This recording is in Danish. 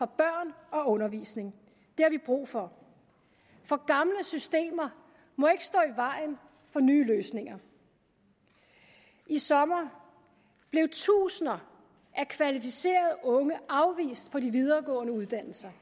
børn og undervisning det har vi brug for for gamle systemer må ikke stå i vejen for nye løsninger i sommer blev tusinder af kvalificerede unge afvist på de videregående uddannelser